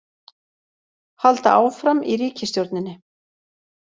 Halda áfram í ríkisstjórninni